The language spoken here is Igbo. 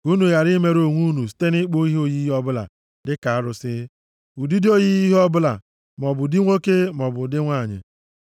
ka unu ghara imerụ onwe unu site nʼịkpụ oyiyi ọbụla dịka arụsị, ụdị oyiyi ihe ọbụla, maọbụ nʼụdị nwoke maọbụ nʼụdị nwanyị,